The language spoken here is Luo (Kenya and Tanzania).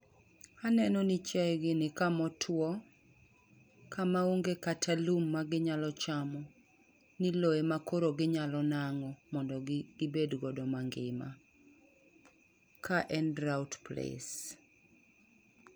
Aneno ni chiayegi ni kama otuo, kama onge kata lum maginyalo chamo. Ni lowo ema koro ginyalo nang'o mondo gi, gibed godo mangima. Ka en drought place.